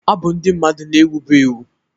Abụ ndị mmadụ na-ewu bụ ewu.